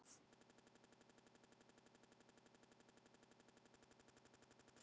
Áhugi Boga liggur í tónlist.